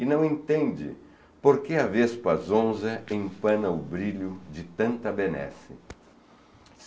e não entende por que a Vespa Zonza empana o brilho de tanta benesse.